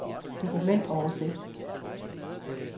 dokumentoversigt